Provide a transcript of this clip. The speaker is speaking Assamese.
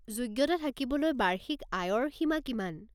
যোগ্যতা থাকিবলৈ বাৰ্ষিক আয়ৰ সীমা কিমান?